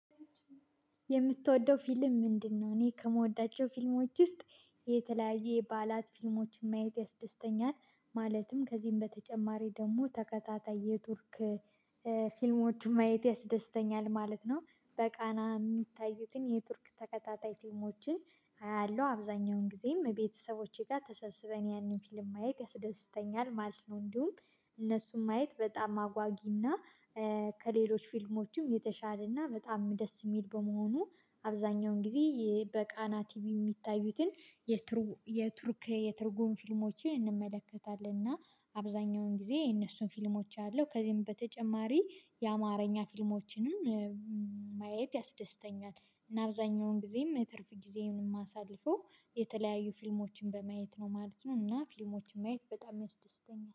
የምትወደው ፊልም ምንድነው? እኔ ከምወዳቸው ፊልሞች ውስጥ የተለያዩ የባላት ፊልሞችን ማየት ያስደስተኛል ማለትም ከዚህም በተጨማሪ ደግሞ ተከታታይ የቱርክ ፊልሞችን ማየት ያስደስተኛል ማለት ነው በቃና የሚታዩትን የቱርክ ተከታታይ ፊልሞችን አያለሁ አብዛኛውን ጊዜም ከቤተሰቦቼ ጋር ተሰብስበን ያንን ፊልም ማየት ያስደስተኛል ማለት ነው እንዲሁም እነሱም ማየት በጣም አጓጊና ከሌሎች ፊልሞችም የተሻለና በጣም ደስ የሚል በመሆኑ አብዛኛውን ጊዜ በቃና ቲቪ የሚታዩትን የቱርክ የትርጉም ፊልሞችን እንመለከታለን እና አብዛኛውን ጊዜ የነሱን ፊልሞች አለው ከዚህም በተጨማሪ የአማርኛ ፊልሞችንም ማየት ያስደስተኛል እና አብዛኛውን ጊዜም ትርፍ ጊዜዬን ማሳልፈው የተለያዩ ፊልሞችን በማየት ነው ማለት ነው እና ፊልሞችን ማየት በጣም ያስደስተኛል